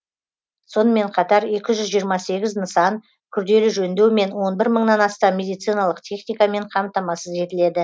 сонымен қатар екі жүз жиырма сегіз нысан күрделі жөндеу мен он бір мыңнан астам медициналық техникамен қамтамасыз етіледі